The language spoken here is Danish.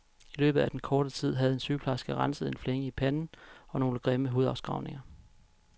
I løbet af den korte tid havde en sygeplejerske renset en flænge i panden og nogle grimme hudafskrabninger.